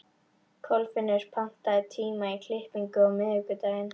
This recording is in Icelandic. Kolfinnur, pantaðu tíma í klippingu á miðvikudaginn.